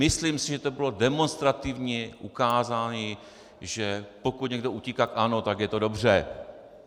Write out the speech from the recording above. Myslím si, že to bylo demonstrativní ukázání, že pokud někdo utíká k ANO, tak je to dobře.